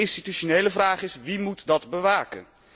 En de institutionele vraag is wie moet dat bewaken?